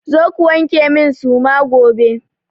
Zo ku wanke min suma gobe!